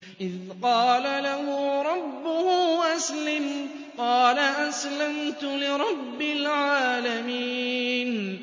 إِذْ قَالَ لَهُ رَبُّهُ أَسْلِمْ ۖ قَالَ أَسْلَمْتُ لِرَبِّ الْعَالَمِينَ